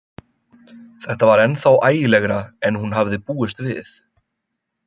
Þetta var ennþá ægilegra en hún hafði búist við.